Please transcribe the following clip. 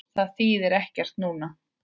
Það þýðir ekkert annað núna.